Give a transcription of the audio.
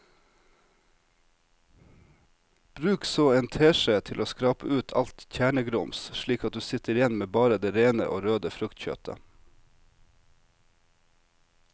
Bruk så en teskje til å skrape ut alt kjernegrums slik at du sitter igjen med bare det rene og røde fruktkjøttet.